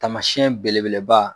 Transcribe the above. Tamasiyɛn belebeleba